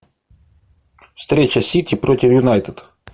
встреча сити против юнайтед